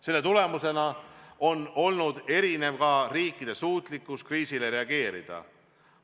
Seetõttu on olnud erinev ka riikide suutlikkus kriisile reageerida.